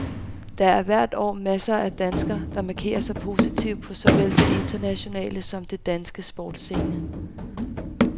Der er hvert år masser af danskere, der markerer sig positivt på såvel den internationale som den danske sportsscene.